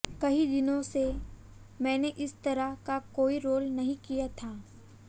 कई दिनों से मैंने इस तरह का कोई रोल नहीं किया था